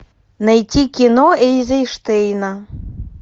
найти кино эйзенштейна